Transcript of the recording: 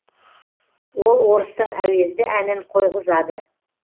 ол орыстың әуезді әнін қойғызады